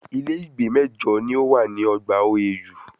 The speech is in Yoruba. Ilé ìgbé mẹ́jọ ni o wà ní ogbà OAU